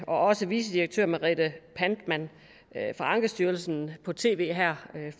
og også vicedirektør merete pantmann fra ankestyrelsen på tv her